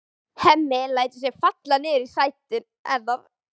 Hemmi lætur sig falla niður í sætið hennar.